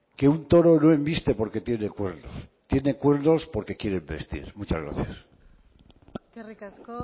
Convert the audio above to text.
que un toro no enviste porque tiene cuernos tiene cuernos porque quiere envestir muchas gracias eskerrik asko